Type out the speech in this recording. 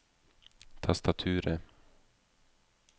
tastaturet